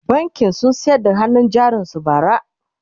bankin sun sayar da hannun jarin su bara